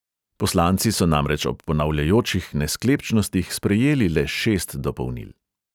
Poslanci so namreč ob ponavljajočih nesklepčnostih sprejeli le šest dopolnil.